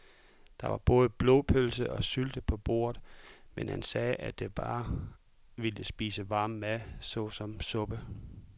Der var både blodpølse og sylte på bordet, men han sagde, at han bare ville spise varm mad såsom suppe.